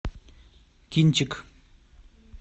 кинчик